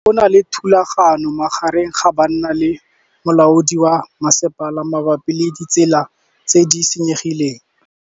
Go na le thulanô magareng ga banna le molaodi wa masepala mabapi le ditsela tse di senyegileng.